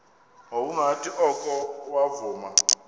ngokungathi oko wavuma